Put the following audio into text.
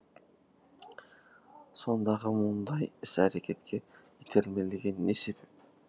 сондағы мұндай іс әрекетке итермелеген не себеп